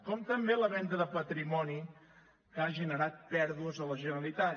com també la venda de patrimoni que ha generat pèrdues a la generalitat